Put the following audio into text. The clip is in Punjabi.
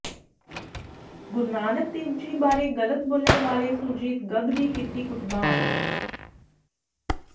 ਗੁਰੂ ਨਾਨਕ ਦੇਵ ਜੀ ਬਾਰੇ ਗਲਤ ਬੋਲਣ ਵਾਲੇ ਸੁਰਜੀਤ ਗੱਗ ਦੀ ਕੀਤੀ ਕੁੱਟਮਾਰ